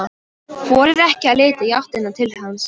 Þorir ekki að líta í áttina til hans.